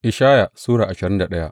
Ishaya Sura ashirin da daya